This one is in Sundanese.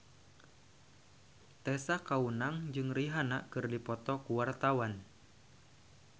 Tessa Kaunang jeung Rihanna keur dipoto ku wartawan